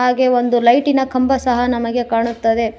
ಹಾಗೆ ಒಂದು ಲೈಟಿ ನ ಕಂಬ ಸಹ ನಮಗೆ ಕಾಣುತ್ತದೆ.